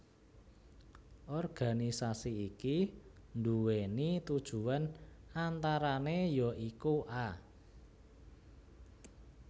Organisasi iki nduwèni tujuwan antarané ya iku a